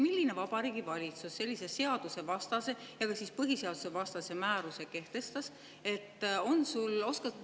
Milline Vabariigi Valitsus sellise seadusvastase ja ka põhiseadusvastase määruse kehtestas?